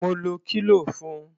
Mo lo kílò fun.